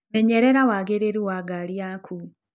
Menyerera wagĩrĩrũ wa ngarĩ yakũ.